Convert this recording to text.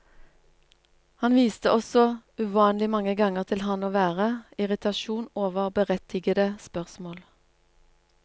Han viste også uvanlig mange ganger til ham å være, irritasjon over berettigede spørsmål.